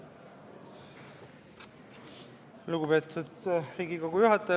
Lugupeetud Riigikogu juhataja!